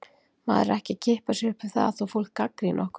Maður er ekki að kippa sér upp við það þó fólk gagnrýni okkur.